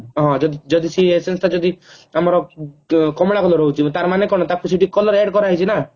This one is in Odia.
ହଁ ଯଦି ଯଦି ସେଇ essence ଟା ଯଦି ଆମର କମଳା color ରହୁଛି ତାର ମାନେ କଣ ତାକୁ ସେଠି color add କର ଯାଇଛି ନା